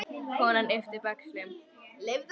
Konan yppti öxlum.